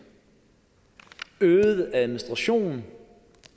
øget administration